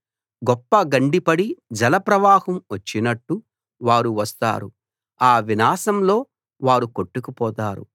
గొప్ప గండి పడి జలప్రవాహం వచ్చినట్టు వారు వస్తారు ఆ వినాశంలో వారు కొట్టుకుపోతారు